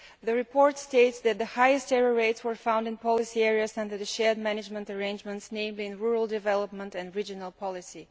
The report states that the highest error rates were found in policy areas under the shared management arrangements, namely in rural development and regional policy.